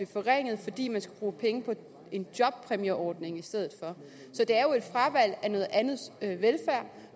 forringet fordi man skal bruge penge på en jobpræmieordning i stedet for så det er jo et fravalg af noget andet velfærd